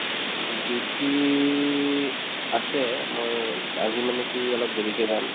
উম, duty আছে মই আজি মানে কি অলপ দেৰিকে যাম